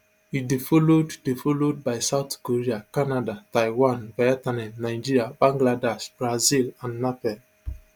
e dey followed dey followed by south korea canada taiwan vietnam nigeria bangladesh brazil and nepal